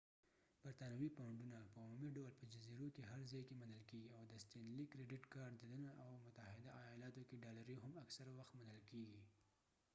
برطانوي پاونډونه په عمومي دول په جزیرو کې هر ځای کې منل کيږي او د ستېنلي کرېډټ کارډ دننه او متحده ایالاتو کې ډالرې هم اکثره وخت منل کیږي